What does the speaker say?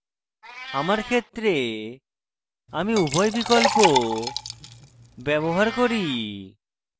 আমার ক্ষেত্রে আমি উভয় বিকল্প ব্যবহার করি